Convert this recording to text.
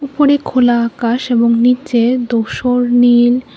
উপরে খোলা আকাশ এবং নীচে দোসর নীল--